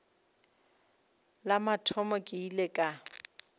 la mathomo ke ile ka